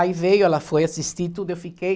Aí veio, ela foi assistir tudo, eu fiquei.